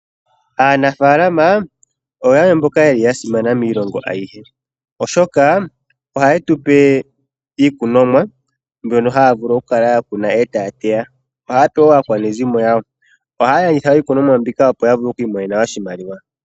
Aanafalama oya simana miilongo ayihe, oshoka ohaye tu pe iikunomwa mbyoka haya vulu okukuna eta ya teya. Ohaye pe wo aakwanezimo yawo, ohaya landitha iikunomwa mbika opo ya vule okumona oshimaliwa.